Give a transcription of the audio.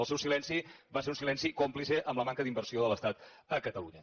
el seu silenci va ser un silenci còmplice amb la manca d’inversió de l’estat a catalunya